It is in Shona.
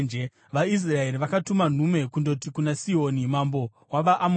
VaIsraeri vakatuma nhume kundoti kuna Sihoni mambo wavaAmori: